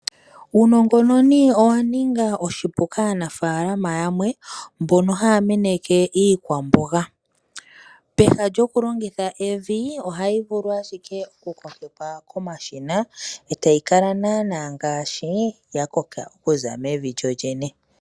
Uunongononi owa ninga oshipu kaanafalama yamwe mbono haya meneke iikwamboga peha lyokulongitha evi ohayi vulu ashike okukokekwa komashina e tayi kala naana ngaashi ya koka okuza mevi lyo lyene.